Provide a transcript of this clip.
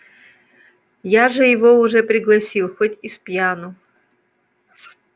я же его уже пригласил хоть и спьяну